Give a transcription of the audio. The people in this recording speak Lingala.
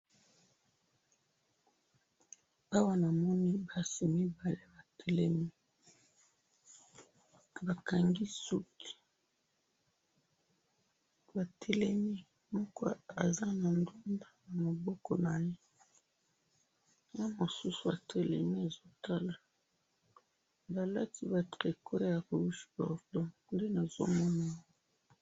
awa namoni basi mibali batelemi baza moko aza na bal na maboko naye mosusu atelemi bakangi ba suki balati ba tricot ya rouge nde nazokomona